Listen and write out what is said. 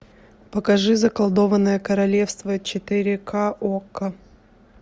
покажи заколдованное королевство четыре ка окко